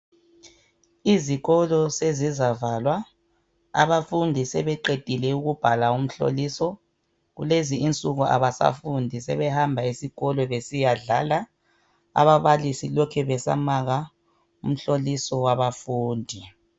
Izikolo sezizavalwa, abafundi sebeqedile ukubhala umhloliso. Kulezi insuku abasafundi, sebehamba esikolo besiyadlala. Ababalisi lokhe besamaka umhloliso wabafundi.